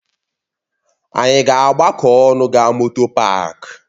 Ànyị ga-agbakọ ọnụ gaa moto páák?